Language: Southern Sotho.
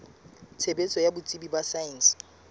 tshebetso ya botsebi ba saense